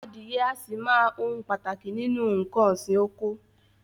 Adìẹ a sì máa ohun pàtàkì nínú nǹkan òsì oko.